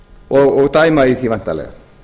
og dæma í því væntanlega